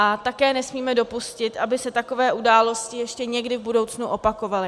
A také nesmíme dopustit, aby se také události ještě někdy v budoucnu opakovaly.